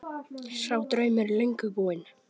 Sá draumur er löngu búinn.